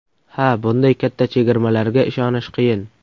Ha, bunday katta chegirmalarga ishonish qiyin.